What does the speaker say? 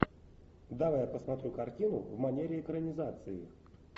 давай я посмотрю картину в манере экранизации